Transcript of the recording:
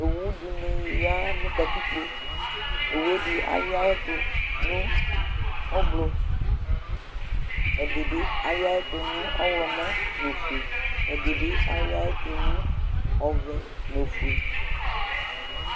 owudɩnɩ ya nʊ katikpo, owu yɛ ɛdɩ awɩ yɩ nʊ avavlitsɛ, ɛdɩbɩ awɩ yɩ nʊ ɔwlɔmɔ nʊ ofue, ɛdɩbɩ awɩ yɩ nʊ ɔvɛ nʊ ofue